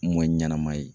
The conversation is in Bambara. Mɔ ɲɛnama ye